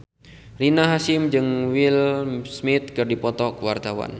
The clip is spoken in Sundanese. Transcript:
Rina Hasyim jeung Will Smith keur dipoto ku wartawan